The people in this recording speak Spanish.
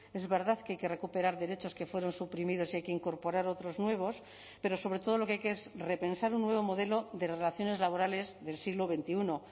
es verdad que hay que recuperar derechos que fueron suprimidos y hay que incorporar otros nuevos pero sobre todo lo que hay que es repensar un nuevo modelo de relaciones laborales del siglo veintiuno